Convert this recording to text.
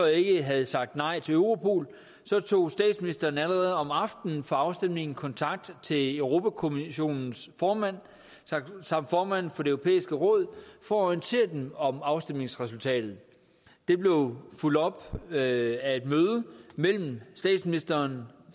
ikke havde sagt nej til europol så tog statsministeren allerede om aftenen for afstemningen kontakt til europa kommissionens formand samt formanden for det europæiske råd for at orientere dem om afstemningsresultatet det blev fulgt op af et møde mellem statsministeren